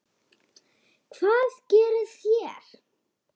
Hvað gerið þér?